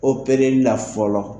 O kɛlen da fɔlɔ.